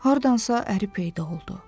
Hardansa əri peyda oldu.